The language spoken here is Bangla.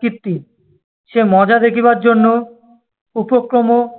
কীর্তি, সে মজা দেখিবার জন্য উপক্রম-